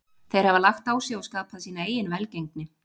Þeir hafa lagt á sig og skapað sína eigin velgengni.